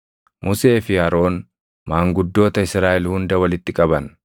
Musee fi Aroon maanguddoota Israaʼel hunda walitti qaban;